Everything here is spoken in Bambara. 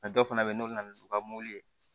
dɔw fana bɛ yen nɔ o bɛ na n'u ka mɔbili ye